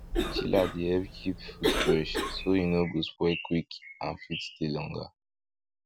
chiller dey help keep food fresh so e no go spoil quick and fit stay longer